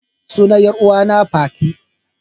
Sunan ƴar'uwana fati.